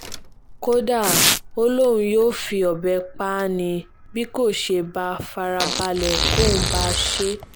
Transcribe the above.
kódà ó lóun yóò fi ọbẹ̀ pa á ni bí kò bá fara balẹ̀ kóun bá a ṣe